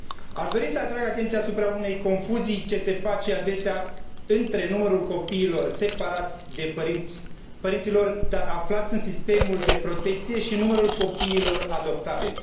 Aș dori să atrag atenția asupra unei confuzii ce se face adesea între numărul copiilor separați de părinții lor, dar aflați în sistemul de protecție și numărul copiilor adoptabili.